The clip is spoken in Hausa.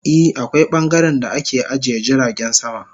I, akwai bangaren da ake ajiye jiragen sama.